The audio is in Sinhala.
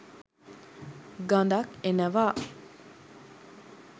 ගඳක් එනවා